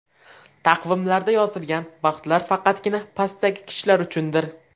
Taqvimlarda yozilgan vaqtlar faqatgina pastdagi kishilar uchundir.